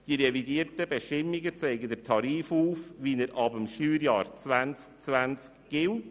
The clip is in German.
Die revidierten Bestimmungen zeigen den Tarif ab dem Steuerjahr 2020.